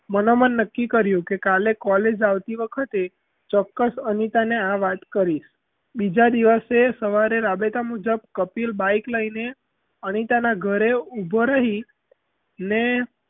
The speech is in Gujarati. મનોમન નક્કી કર્યું કે કાલે college આવતી વખતે ચોક્કસ અનિતા ને આ વાત કરીશ બીજા દિવશે સવારે રાબેતાં મુજબ કપિલ bike લઈને અનિતાનાં ઘરે ઊભો રહી ને,